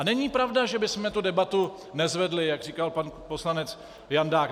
A není pravda, že bychom tu debatu nezvedli, jak říkal pan poslanec Jandák.